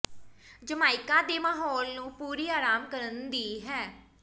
Jamaica ਦੇ ਮਾਹੌਲ ਨੂੰ ਪੂਰੀ ਆਰਾਮ ਕਰਨ ਦੀ ਹੈ